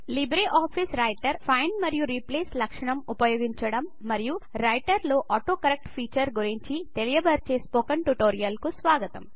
LibreOffice Writer find మరియు replace లక్షణం ఉపయోగించడం మరియు రైటర్ లో ఆటో కరెక్ట్ ఫీచర్ గురించి తెలియ బరిచే స్పోకెన్ ట్యుటోరియల్ కు స్వాగతం